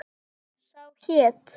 Sá hét